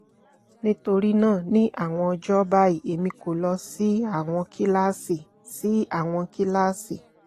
nitorina ni awọn ọjọ bayi emi ko lọ si awọn kilasi si awọn kilasi